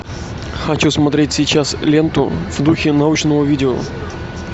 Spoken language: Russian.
хочу смотреть сейчас ленту в духе научного видео